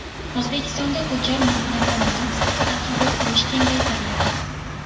O‘zbekistonda ko‘char mulkni ta’minot sifatida qabul qilish kengaytiriladi.